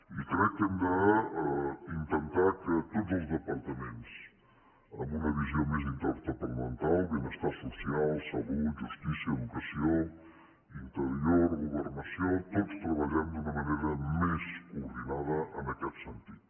i crec que hem d’intentar que tots els departaments amb una visió més interdepartamental benestar social salut justícia educació interior governació tots treballem d’una manera més coordinada en aquest sentit